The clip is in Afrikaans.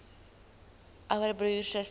ouer broer suster